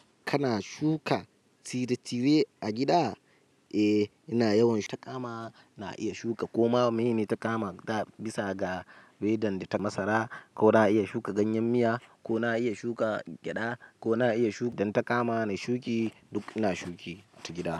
Kana shuka tire-tire a gida? Eh, ina yawan takama. Na iya shuka koma. Mene takama ga bisa ga ridan da ta masara, ko na iya shuka ganyen miya, ko na iya shuka gyaɗa, ko na iya shu-- idan takama na shuki, duk ina shuki ta gida.